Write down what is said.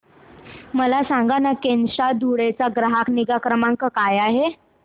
मला सांगाना केनस्टार धुळे चा ग्राहक निगा क्रमांक काय आहे